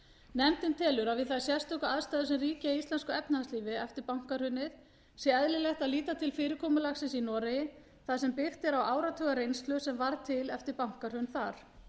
nefndin telur að við þær sérstöku aðstæður sem ríkja í íslensku efnahagslífi eftir bankahrunið sé eðlilegt að líta til fyrirkomulagsins í noregi þar sem byggt er á áratuga reynslu sem varð til eftir bankahrun þar